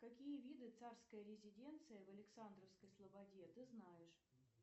какие виды царской резиденции в александровской слободе ты знаешь